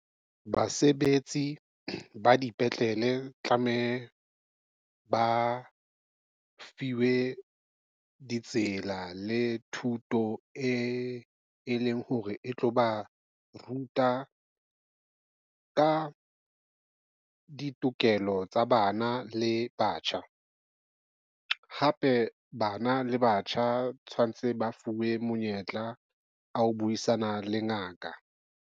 Basebetsi ba dipetlele tlame ba fiwe ditsela le thuto e, e leng hore e tlo ba ruta ka ditokelo tsa bana le batjha. Hape bana le batjha tshwantse ba fuwe monyetla wa ho buisana le ngaka.